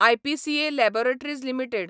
IPCA laboratories limited